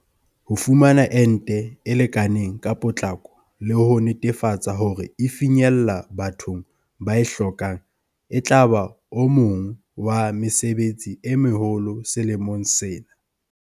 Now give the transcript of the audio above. Ho fumana ente e lekaneng ka potlako le ho netefatsa hore e finyella bathong ba e hlokang etlaba o mong wa mesebetsi e meholo selemong sena.